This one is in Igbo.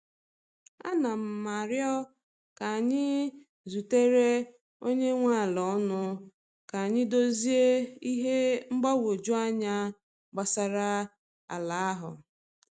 A na m aro ka anyị zutere onye nwe ala ọnụ ka anyị dozie ihe mgbagwoju anya gbasara ala ahụ.